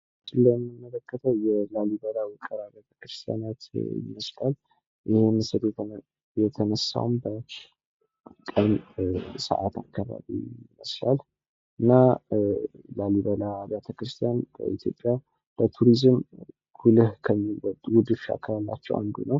በምስሉ ላይ የምንመለከተው የላሊበላ ውቅር አብያተ ክርስቲያናት ይመስላል ፤ ይህ ምስል የተነሳውም በቀን ሰዓት አካባቢ ሲሆን እና ላሊበላ ውቅር አብያተ ክርስቲያን ለኢትዮጵያ በቱሪዝም ጉልህ ድርሻ ካላቸው አንዱ ነው።